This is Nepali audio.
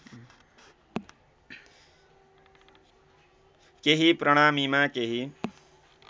केही प्रणामीमा केही